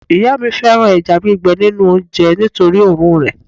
ìyá mi fẹràn eja gbigbe ninu onje nitori orun re